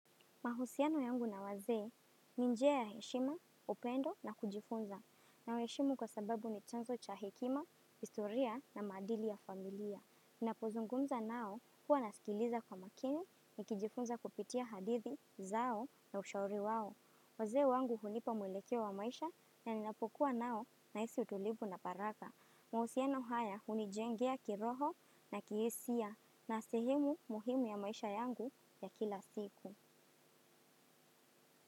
Mahusiano yangu na wazee ni njia ya heshima, upendo na kujifunza. Nawehishimu kwa sababu ni chanzo cha hekima, historia na maadili ya familia. Napozungumza nao huwa nasikiliza kwa makini nikijifunza kupitia hadithi zao na ushauri wao. Wazee wangu hulipa mwelekeo wa maisha na ninapokuwa nao nahisi utulivu na faragha. Mahusiano haya unijengea kiroho na kihisia na sehemu muhimu ya maisha yangu ya kila siku.